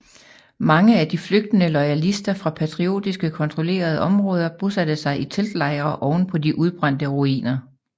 Mange af de de flygtende loyalister fra patriotiske kontrollerede områder bosatte sig i teltlejre ovenpå de udbrændte ruiner